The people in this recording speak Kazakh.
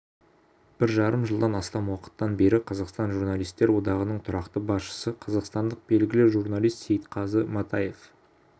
бір жарым жылдан астам уақыттан бері қазақстан журналистер одағының тұрақты басшысы қазақстандық белгілі журналист сейітқазы матаев